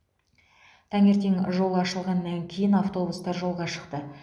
таңертең жол ашылғаннан кейін автобустар жолға шықты